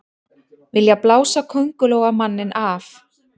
Vilja blása Kóngulóarmanninn af